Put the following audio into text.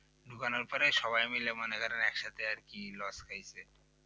ঢুকানোর পরে সবাই মিলে মনে ধরে একসাথে আর কি loss খাইছে